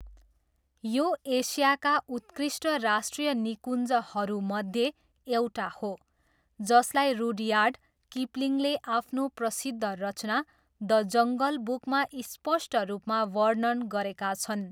यो एसियाका उत्कृष्ट राष्ट्रिय निकुञ्जहरूमध्ये एउटा हो, जसलाई रुडयार्ड किपलिङले आफ्नो प्रसिद्ध रचना द जङ्गल बुकमा स्पष्ट रूपमा वर्णन गरेका छन्।